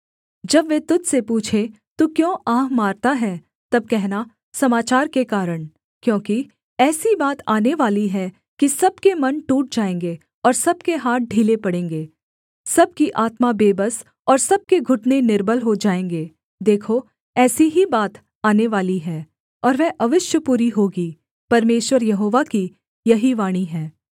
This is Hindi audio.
जब वे तुझ से पूछें तू क्यों आह मारता है तब कहना समाचार के कारण क्योंकि ऐसी बात आनेवाली है कि सब के मन टूट जाएँगे और सब के हाथ ढीले पड़ेंगे सब की आत्मा बेबस और सब के घुटने निर्बल हो जाएँगे देखो ऐसी ही बात आनेवाली है और वह अवश्य पूरी होगी परमेश्वर यहोवा की यही वाणी है